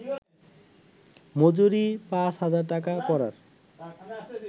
মজুরি পাঁচ হাজার টাকা করার